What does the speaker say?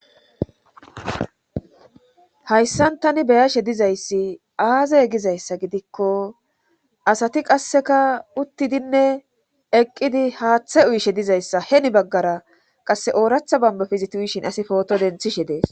Hayssan tani beyashe dizayssi aazey gizayssa gidikko asati qasseka uttidinne eqqidi haaththe uyishe dizayssa heni baggara qasse ooratha bambafe eti uyishin asi pooto denthishe dees.